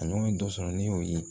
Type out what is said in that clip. A ɲɔgɔn ye dɔ sɔrɔ ne y'o ye